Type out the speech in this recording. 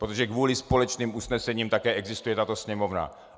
Protože kvůli společným usnesením také existuje tato Sněmovna.